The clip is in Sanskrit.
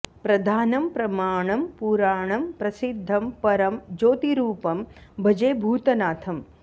प्रधानं प्रमाणं पुराणं प्रसिद्धं परं ज्योतिरूपं भजे भूतनाथम्